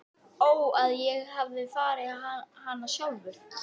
Ó að ég hefði farið hana sjálfur.